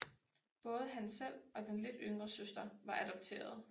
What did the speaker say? Både han selv og den lidt yngre søster var adopterede